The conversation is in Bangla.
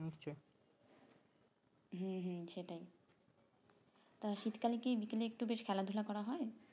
হুম হুম সেটাই তা শীতকালে কি বিকেলে একটু বেশ খেলা ধুলা করা হয়